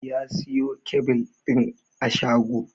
Ya siyo kyabil ɗin a shago